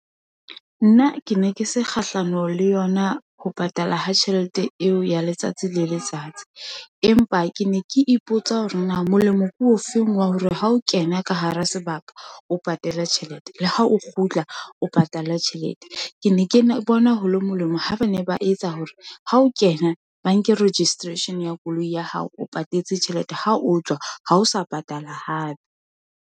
Nna ke ne ke se kgahlano le yona, ho patala ha tjhelete eo ya letsatsi le letsatsi, empa ke ne ke ipotsa hore na molemo ke o feng, wa hore ha o kena ka hara sebaka o patala tjhelete, le ha o kgutla o patala tjhelete. Ke ne ke bona ho le molemo, ha ba ne ba etsa hore ha o kena, ba nke registration ya koloi ya hao o patetse tjhelete, ha o tswa ha o sa patala hape.